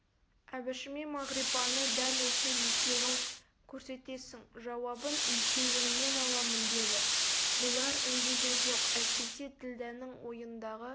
әбішіме мағрипаны дәл осы екеуің көрсетесің жауабын екеуіңнен аламын деді бұлар үндеген жоқ әйтпесе ділдәнің ойындағы